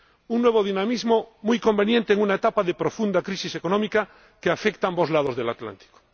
Un nuevo dinamismo muy conveniente en una etapa de profunda crisis económica que afecta a ambos lados del Atlántico.